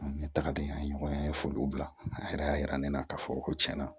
An ɲɛ taga di an ye ɲɔgɔn ye an ye foliw bila a yɛrɛ y'a yira ne la k'a fɔ ko tiɲɛna